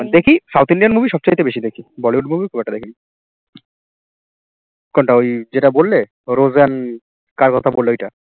দেখি south Indian movie সবচাইতে বেশি দেখি bollywood movie খুব একটা দেখি নি কোনটা ওই যেটা বললে rose and কার কথা বললে ওই টা